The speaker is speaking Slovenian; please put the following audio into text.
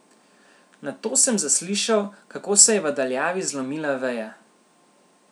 Nato sem zaslišal, kako se je v daljavi zlomila veja.